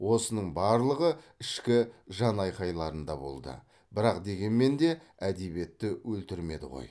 осының барлығы ішкі жанайқайларында болды бірақ дегенмен де әдебиетті өлтірмеді ғой